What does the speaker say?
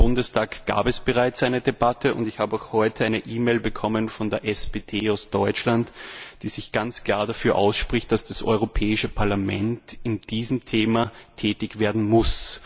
Im Deutschen Bundestag gab es bereits eine Debatte, und ich habe auch heute eine E Mail bekommen von der SPD aus Deutschland, die sich ganz klar dafür ausspricht, dass das Europäische Parlament bei diesem Thema tätig werden muss.